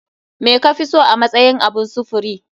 Me kafiso a matsayin abun sufuri?